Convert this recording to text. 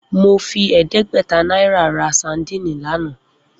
Mo fi è̩é̩dé̩gbè̩ta náírà ra sadíìnì lánàá